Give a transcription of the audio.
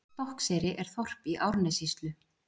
Stokkseyri er þorp í Árnessýslu.